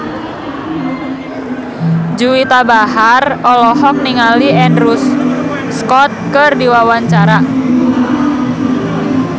Juwita Bahar olohok ningali Andrew Scott keur diwawancara